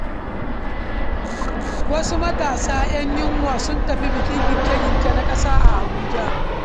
Wasu matasa 'yan yunwa sun tafi bikin girke-girke na ƙasa a Abuja.